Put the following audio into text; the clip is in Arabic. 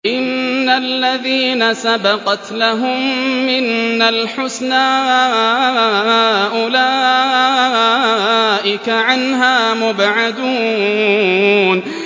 إِنَّ الَّذِينَ سَبَقَتْ لَهُم مِّنَّا الْحُسْنَىٰ أُولَٰئِكَ عَنْهَا مُبْعَدُونَ